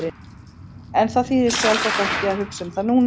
En það þýðir sjálfsagt ekki að hugsa um það núna.